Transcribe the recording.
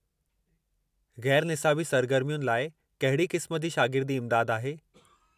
गै़रु निसाबी सरगर्मियुनि लाइ कहिड़ी क़िस्म जी शागिर्दी इमदादु आहे?